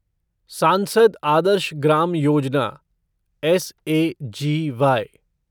सांसद आदर्श ग्राम योजना एसएजीवाई